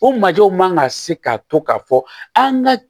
O majɔw man ka se ka to ka fɔ an ka